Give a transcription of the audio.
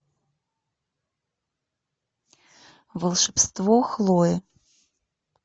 волшебство хлои